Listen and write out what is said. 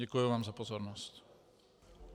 Děkuji vám za pozornost.